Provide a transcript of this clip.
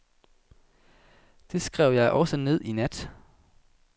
Det skrev jeg også ned i nat.